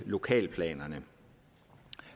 lokalplanerne